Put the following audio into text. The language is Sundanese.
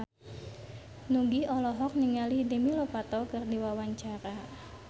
Nugie olohok ningali Demi Lovato keur diwawancara